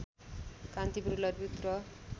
कान्तिपुर ललितपुर र